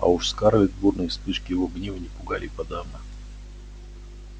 а уж скарлетт бурные вспышки его гнева не пугали и подавно